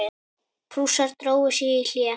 Prússar drógu sig í hlé.